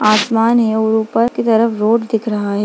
आसमान है और ऊपर की तरफ रोड दिख रहा है।